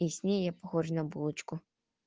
и с ней я похожа на булочку